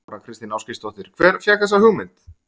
Þóra Kristín Ásgeirsdóttir: Hver fékk þessa hugmynd?